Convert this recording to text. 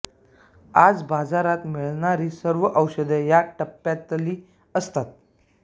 आज बाजारात मिळणारी सर्व औषधे या टप्प्यातली असतात